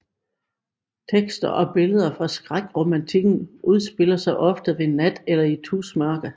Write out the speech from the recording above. Tekster og billeder fra skrækromantikken udspiller sig ofte ved nat eller tusmørke